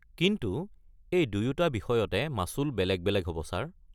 কিন্তু এই দুয়োটা বিষয়তে মাচুল বেলেগ বেলেগ হ'ব ছাৰ।